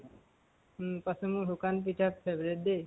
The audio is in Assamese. উম পাছে মোৰ সুকান পিঠা favorite দেই।